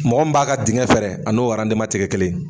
Mɔgɔ min b'a ka diŋɛ fɛɛrɛ a n'o te kɛ kelen ye.